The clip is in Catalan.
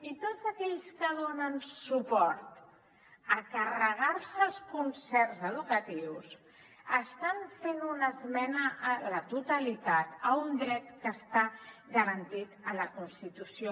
i tots aquells que donen suport a carregar se els concerts educatius estan fent una esmena a la totalitat a un dret que està garantit a la constitució